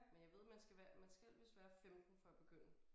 Men jeg ved man skal være man skal vist være 15 for at begynde